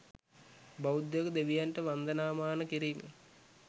බෞද්ධයකු දෙවියන්ට වන්දනාමාන කිරීම